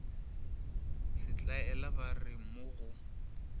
setlaela ba re mo go